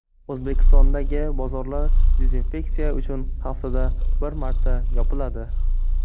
O‘zbekistondagi bozorlar dezinfeksiya uchun haftada bir marta yopiladi.